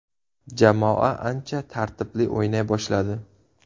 Jamoa ancha tartibli o‘ynay boshladi.